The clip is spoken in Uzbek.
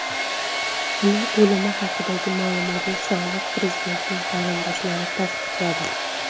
Uning o‘limi haqidagi ma’lumotni sobiq prezidentning qarindoshlari tasdiqladi.